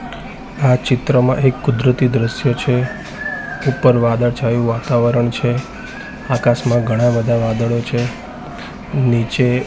આ ચિત્રમાં એક કુદરતી દ્રશ્ય છે ઉપર વાદળછાયુ વાતાવરણ છે આકાશમાં ઘણા બધા વાદળો છે નીચે--